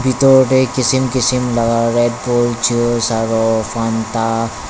dor ti kisem kisem laka redbull juice aru fanta .